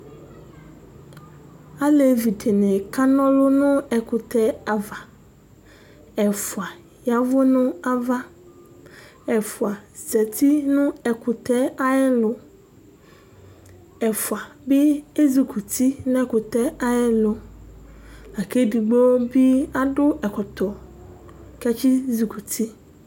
Alevɩ dini kana ɔlʋ nʋ ɛkʋtɛ dɩ ava, ɛfʋa ya ɛvʋ nʋ ava, ɛfʋa zati nʋ ɛkʋtɛ ayʋ ɛlʋ, ɛfʋ bɩ ezɩkɔ uti nʋ ɛkʋtɛ ayʋ ɛlʋ lakʋ edigbo bɩ adʋ ɛkɔtɔ kʋ atsi zɩkɔ uti.